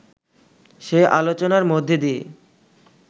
সে আলোচনার মধ্যে দিয়ে